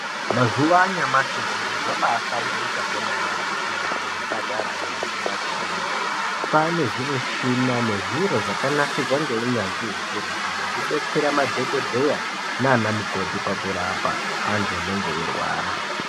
Mazuwa anyamushi zviri zvambaa hamburika kwemene kuzvipatara nekumakirinika. Kwane zvimuchina nezviro zvakanasirwa ngeunyanzvi ukurutu zvekudetsera madhokodheya naana mukoti pakurapa andu anenge eirwara.